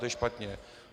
To je špatně.